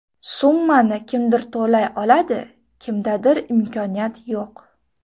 Summani kimdir to‘lay oladi, kimdadir imkoniyat yo‘q.